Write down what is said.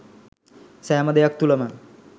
සෑම දෙයක් තුළම